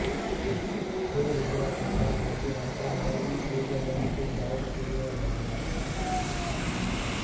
چھ وزرا کے ساتھ وزیر اعظم مودی سوئٹزرلینڈ کے ڈاووس کے لئے روانہ